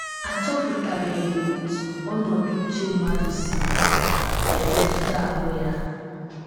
A chọpụtabeghị otú ọnọdụ uche mmadụ si emetụta ahụ́ ya.